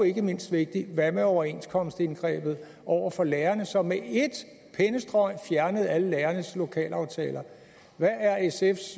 ikke mindst vigtigt hvad med overenskomstindgrebet over for lærerne som med et pennestrøg fjernede alle lærernes lokalaftaler